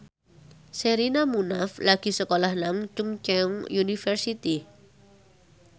Sherina Munaf lagi sekolah nang Chungceong University